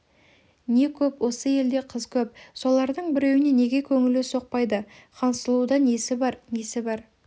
не көп осы елде қыз көп солардың біреуіне неге көңілі соқпайды хансұлуда несі бар несі бар